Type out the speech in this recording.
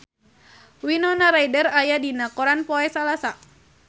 Winona Ryder aya dina koran poe Salasa